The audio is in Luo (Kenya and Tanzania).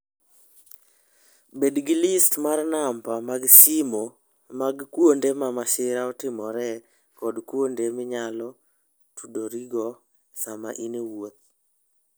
Bed gi list mar namba mag simo mag kuonde ma masira otimoree kod kuonde minyalo tudorigo sama in e wuoth.